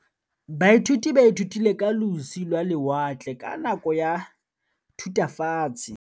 Baithuti ba ithutile ka losi lwa lewatle ka nako ya Thutafatshe.